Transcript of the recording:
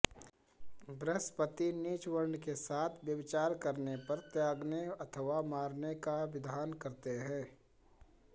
बृहस्पति नीचवर्ण के साथ व्यभिचार करने पर त्यागने अथवा मारने का विधान करते हैं